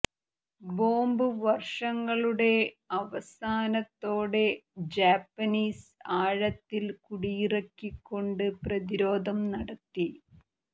bomb വർഷങ്ങളുടെ അവസാനത്തോടെ Japanese ആഴത്തിൽ കുടിയിറക്കിക്കൊണ്ട് പ്രതിരോധം നടത്തി